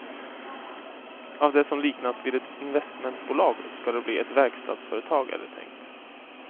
Av det som liknats vid ett investmentbolag ska det bli ett verkstadsföretag, är det tänkt.